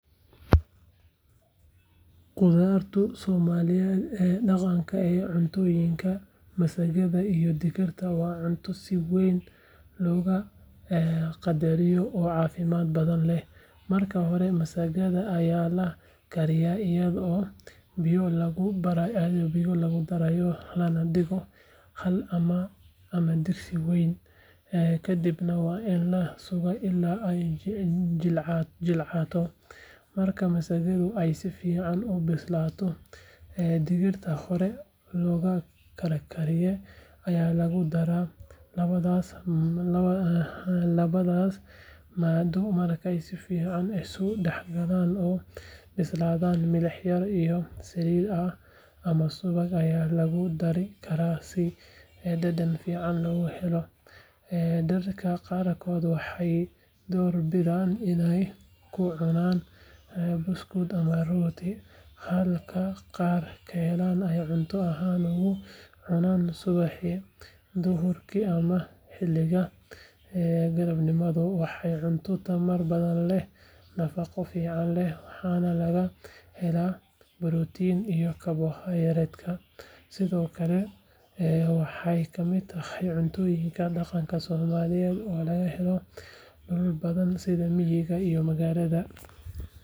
Qudradii Soomaalida ee dhaqanka iyo cuntooyinka, masagada iyo digirta waa cunto si weyn loo qadariyo oo caafimaad badan leh. Marka hore, masagada ayaa la kariyaa iyadoo biyo lagu darayo lana dhigo haan ama digsi weyn, kadibna waa in la sugaa ilaa ay jilcato. Marka masagadu ay si fiican u bislaato, digirta hore loo karkariyay ayaa lagu daraa. Labadaas maaddo markay si fiican isu dhexgalaan oo bislaadaan, milix yar iyo saliid ama subag ayaa lagu dari karaa si dhadhan fiican loogu daro. Dadka qaarkood waxay doorbidaan inay ku cunaan buskud ama rooti, halka qaar kalena ay cunto ahaan ugu cunaan subaxdii, duhurkii ama xilliga galabnimo. Waa cunto tamar badan leh, nafaqo fiican leh, waxaana laga helaa borotiin iyo kaarbohaydrayt. Sidoo kale, waxay ka mid tahay cuntooyinka dhaqanka Soomaaliyeed oo laga helo dhulal badan sida miyiga iyo magaalada.